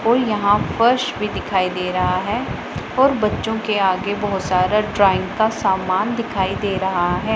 कोई यहां फर्श भी दिखाई दे रहा है और बच्चों के आगे बहोत सारा ड्राइंग का सामान दिखाई दे रहा है।